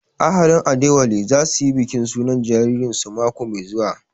Ahalin Adewale za su yi bikin sunan jaririn su mako mai zuwa